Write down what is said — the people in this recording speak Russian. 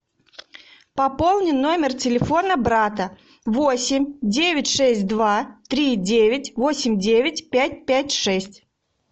пополни номер телефона брата восемь девять шесть два три девять восемь девять пять пять шесть